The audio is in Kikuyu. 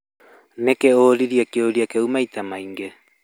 Nĩkĩĩ ũririe kĩũria kĩu maitĩ maingĩ?